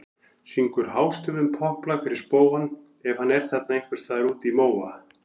Syngur hástöfum popplag fyrir spóann ef hann er þarna ein- hvers staðar úti í móa.